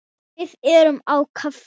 Við erum á kafi.